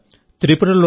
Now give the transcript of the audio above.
మిత్రులారా